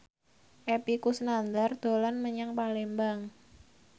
Epy Kusnandar dolan menyang Palembang